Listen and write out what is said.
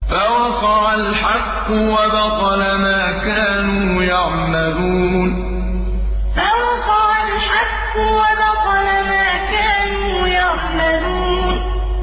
فَوَقَعَ الْحَقُّ وَبَطَلَ مَا كَانُوا يَعْمَلُونَ فَوَقَعَ الْحَقُّ وَبَطَلَ مَا كَانُوا يَعْمَلُونَ